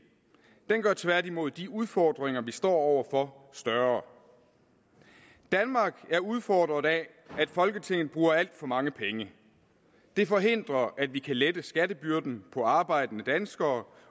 det gør tværtimod de udfordringer vi står over for større danmark er udfordret af at folketinget bruger alt for mange penge det forhindrer at vi kan lette skattebyrden for arbejdende danskere